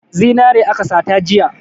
Zinare aka sata jiya.